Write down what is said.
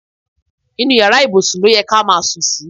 Inú iyàrá ibùsùn lóye ká má sùn sí.